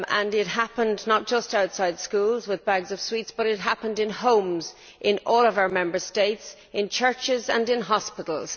It happened not just outside schools with bags of sweets, but it happened in homes, in all of our Member States, in churches and in hospitals.